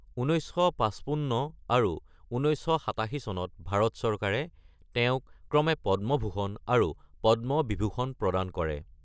১৯৫৫ আৰু ১৯৮৭ চনত ভাৰত চৰকাৰে তেওঁক ক্ৰমে পদ্মভূষণ আৰু পদ্ম বিভূষণ প্ৰদান কৰে।